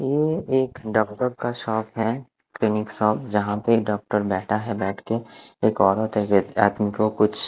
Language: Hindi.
ये एक डॉक्टर का शॉप है क्लीनिक शॉप यहां पे डॉक्टर बैठा है बैठ के एक औरत एक आदमी को कुछ--